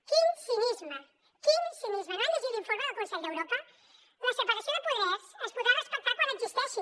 quin cinisme quin cinisme no han llegit l’informe del consell d’europa la separació de poders es podrà respectar quan existeixi